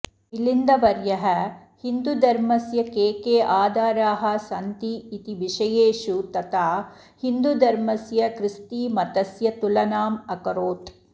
मिलिन्दवर्यः हिन्दूधर्मस्य के के आधाराः सन्ति इति विषयेषु तथा हिन्दूधर्मस्य ख्रिस्तीमतस्य तुलनामकरोत्